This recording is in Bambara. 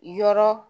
Yɔrɔ